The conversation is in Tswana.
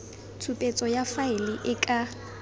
tshupetso ya faele e ka